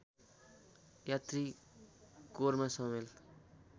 यात्री कोरमा सामेल